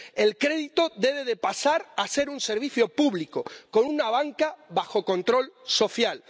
El crédito debe pasar a ser un servicio público, con una banca bajo control social.